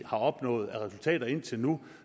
opnået af resultater indtil nu